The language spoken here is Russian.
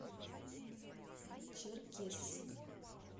черкесск